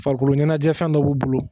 Farikolo ɲɛnajɛ fɛn dɔ b'u bolo